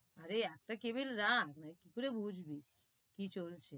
আরে একটা cable রাখ, নাহলে কি করে বুঝবি কি চলছে,